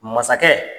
Masakɛ